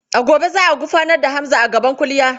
A gobe za a gurfanar da Hamza gaban kuliya.